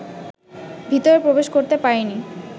ভিতরে প্রবেশ করতে পারেনি